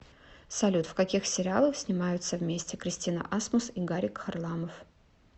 салют в каких сериалах снимаются вместе кристина асмус и гарик харламов